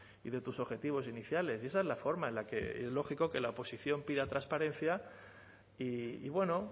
y de tus objetivos iniciales y esa es la forma en la que y es lógico que la oposición pida transparencia y bueno